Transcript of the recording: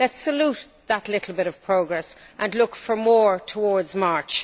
it. Let us salute that little bit of progress and look for more towards March.